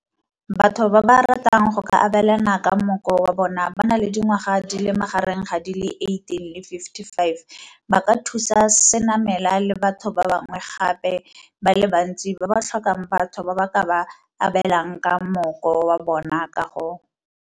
Batho ba ba ratang go ka abelana ka mmoko wa bona ba na le dingwaga di le magareng ga di le 18 le 55 ba ka thusa Senamela le batho ba bangwe gape ba le bantsi ba ba tlhokang batho ba ba ka ba abelang ka mmoko wa bona ka go.